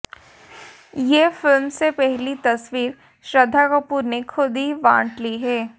ये फिल्म से पहली तस्वीर श्रद्धा कपूर ने खुद ही बांट ली है